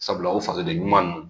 Sabula o faje ɲuman don